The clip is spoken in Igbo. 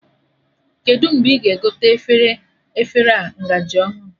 Kedụ mgbe ị ga-egote efere a ngaji ọhụrụ